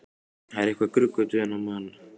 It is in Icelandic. Það var eitthvað gruggugt við þennan mann.